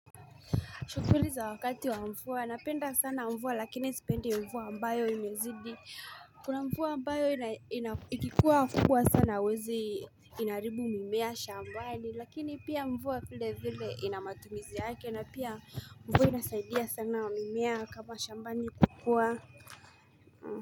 Shughuli za wakati wa mvua, napenda sana mvua lakini nisipendi mvua ambayo imezidi, Kuna mvua ambayo ikikuwa kubwa sana wezi inaribu mimea shambani lakini pia mva vile vile inamatumizi yake na pia mvua inasaidia sana mimea kama shambani kukua.